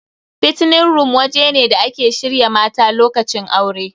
Fattening room waje ne da ake shirya mata lokacin aure.